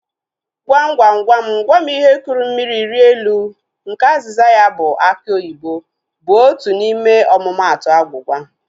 Gwam gwam gwam gwam ihe kụrụ mmiri rịa elu nke azịza ya bụ aki oyibo bụ otu n'ime omumatu agwugwa